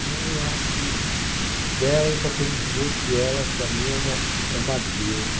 Então eu acho que dela eu só tenho que dizer que ela, para mim, é uma, é uma deusa.